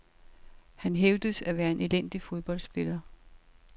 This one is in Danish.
Han hævdes at være en elendig fodboldspiller.